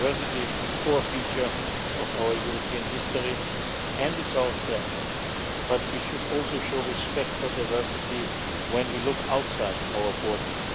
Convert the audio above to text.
Diversity is the core feature of our European history and it is our strength, but we should also show respect for diversity when we look outside our borders.